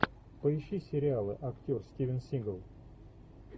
поищи сериалы актер стивен сигал